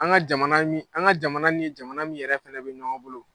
An ka jamana ni an ka jamana ni jamana min yɛrɛ fɛnɛ be ɲɔgɔn bolo